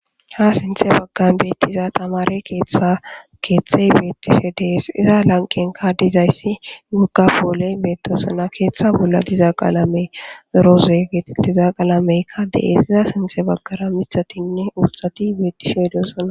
Ha sinthe baggan beettiza tamare keeththa keeththey beettishe dees iza lanqenka dizayssi wogafooley beetosana keeththa bolla diza qaalame rooze betitiza qalameykka de7esiza sinthe baggara mithatinne urxati beettishe dosana.